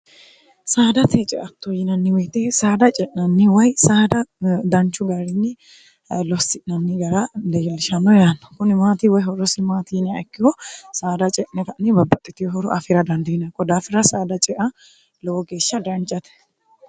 saadate ceatto yinanniwiite saada ce'nanni way saada danchu garinni lossi'nanni gara deyalshamno yaanno kuni maati woy ho'rosi maatiinia ikkiho saada ce'neta'ni babbaxxitihoro afira dandiina godaafira saada cea lowo geeshsha dancate